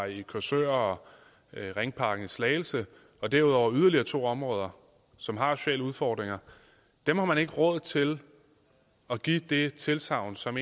i korsør og ringparken i slagelse og derudover yderligere to områder som har sociale udfordringer dem har man ikke råd til at give det tilsagn som